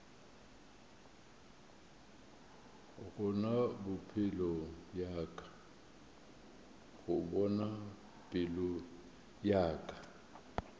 go bona pelo ya ka